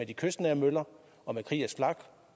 de kystnære møller og kriegers flak